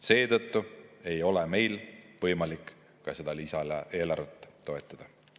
Seetõttu ei ole meil võimalik ka seda lisaeelarvet toetada.